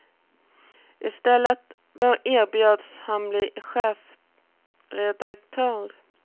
I stället erbjöds han bli chefredaktör.